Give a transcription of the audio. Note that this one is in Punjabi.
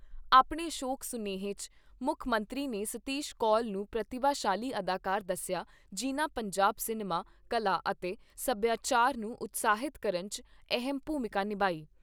ਆਪਣੇ ਸ਼ੋਕ ਸੁਨੇਹੇ 'ਚ ਮੁੱਖ ਮੰਤਰੀ ਨੇ ਸਤੀਸ਼ ਕੌਲ ਨੂੰ ਪ੍ਰਤੀਭਾਸ਼ਾਲੀ ਅਦਾਕਾਰ ਦੱਸਿਆ ਜਿਨ੍ਹਾਂ ਪੰਜਾਬ ਸਿਨੇਮਾ, ਕਲਾ ਅਤੇ ਸਭਿਆਚਾਰ ਨੂੰ ਉਤਸ਼ਾਹਿਤ ਕਰਨ 'ਚ ਅਹਿਮ ਭੂਮਿਕਾ ਨਿਭਾਈ।